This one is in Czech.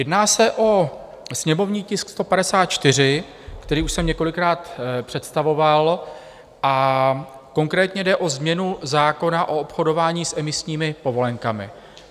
Jedná se o sněmovní tisk 154, který už jsem několikrát představoval, a konkrétně jde o změnu zákona o obchodování s emisními povolenkami.